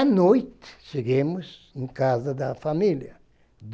A noite chegamos em casa da família.